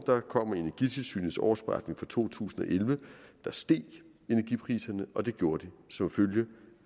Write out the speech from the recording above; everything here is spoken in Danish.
kommer energitilsynets årsberetning for to tusind og elleve der steg energipriserne og det gjorde de som følge